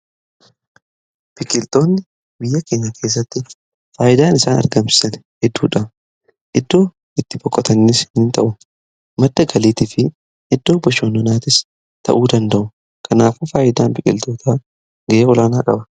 Biqiltootni biyya keenya keessatti faayidaan isaan argamsisan hedduudha. Iddoo itti boqotanis in ta'u. Madda galiitii fi iddoo bashannanaatis ta'uu danda'u. Kanaafuu faayidaan biqiltoota gahee olaanaa qaba.